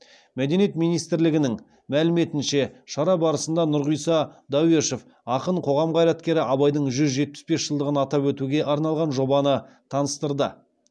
мәдениет министрлігінің мәліметінше шара барысында нұрғиса дәуешов ақын қоғам қайраткері абайдың жүз жетпіс бес жылдығын атап өтуге арналған жобаны таныстырды